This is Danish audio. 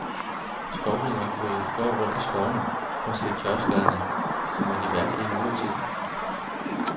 Skovridderen kørte i går rundt i skovene for at se tørkeskadene, som er de værste i nyere tid.